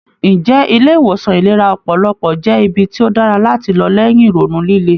Ǹjẹ́ ilé ìwòsan ìlera ọpọlọpọ jẹ́ ibi tí ó dára láti lọ lẹ́yìn ìrònú líle?